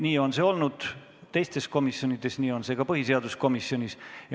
Nii on see olnud teistes komisjonides ja nii on see ka põhiseaduskomisjonis.